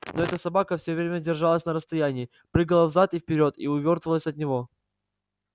но эта собака всё время держалась на расстоянии прыгала взад и вперёд и увёртывалась от него